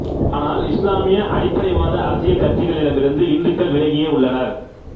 ஆனால் இசுலாமிய அடிப்படைவாத அரசியல் கட்சிகளிடமிருந்து இந்துக்கள் விலகியே உள்ளனர்